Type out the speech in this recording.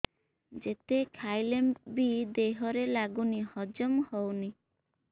ଯେତେ ଖାଇଲେ ବି ଦେହରେ ଲାଗୁନି ହଜମ ହଉନି